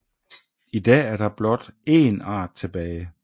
I dag er der blot én art tilbage